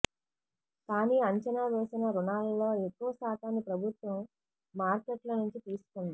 కానీ అంచనా వేసిన రుణాలలో ఎక్కువ శాతాన్ని ప్రభుత్వం మార్కెట్ల నుంచి తీసుకుంది